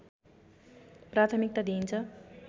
प्राथिमकता दिइन्छ